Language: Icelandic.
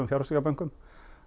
fjárfestingarbönkum